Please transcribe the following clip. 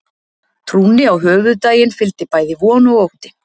Trúnni á höfuðdaginn fylgdi bæði von og ótti.